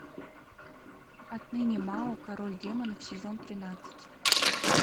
отныне мао король демонов сезон тринадцать